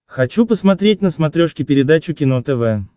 хочу посмотреть на смотрешке передачу кино тв